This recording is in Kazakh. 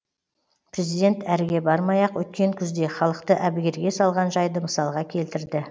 президент әріге бармай ақ өткен күзде халықты әбіргерге салған жайды мысалға келтірді